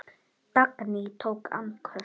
Dagný tók andköf.